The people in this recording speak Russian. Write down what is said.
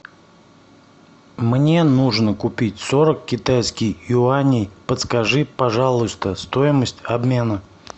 мне нужно купить сорок китайских юаней подскажи пожалуйста стоимость обмена